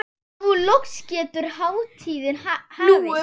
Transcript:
Nú loks getur hátíðin hafist.